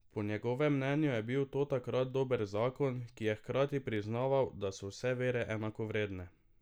Po njegovem mnenju je bil to takrat dober zakon, ki je hkrati priznaval, da so vse vere enakovredne.